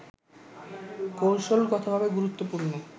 কৌশলগতভাবে গুরুত্বপূর্ণ